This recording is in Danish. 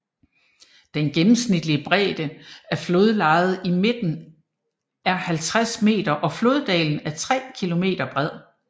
Den gennemsnitlige bredde af flodlejet i midten er 50 m og floddalen er 3 km bred